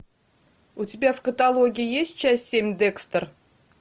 у тебя в каталоге есть часть семь декстер